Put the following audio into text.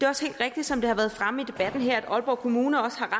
også helt rigtigt som det har været fremme i debatten her at aalborg kommune også har